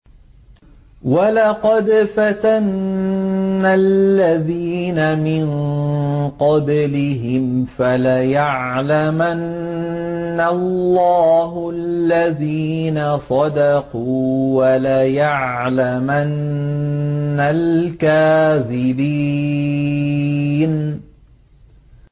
وَلَقَدْ فَتَنَّا الَّذِينَ مِن قَبْلِهِمْ ۖ فَلَيَعْلَمَنَّ اللَّهُ الَّذِينَ صَدَقُوا وَلَيَعْلَمَنَّ الْكَاذِبِينَ